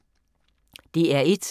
DR1